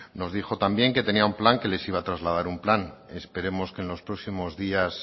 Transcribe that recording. nos dijo también que tenía un plan que les iba a trasladar un plan esperemos que en los próximos días